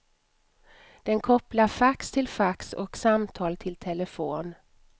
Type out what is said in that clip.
Den kopplar fax till fax och samtal till telefon.